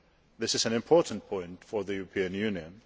This is an important point for the European Union.